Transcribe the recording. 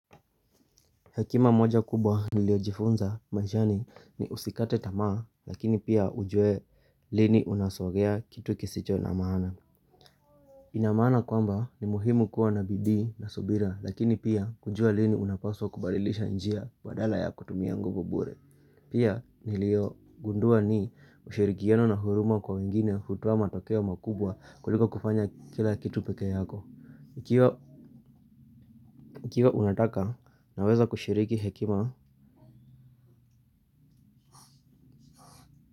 Hekima moja kubwa niliojifunza maishani ni usikate tamaa lakini pia ujuwe lini unasogea kitu kisicho na maana. Inamana kwamba ni muhimu kuwa na bidi na subira lakini pia kujua lini unapaswa kubadilisha njia badala ya kutumia nguvu bure. Pia nilio gundua ni ushirikiano na huruma kwa wengine hutoa matokeo makubwa kuliko kufanya kila kitu peke yako. Ikiwa unataka naweza kushiriki hekima.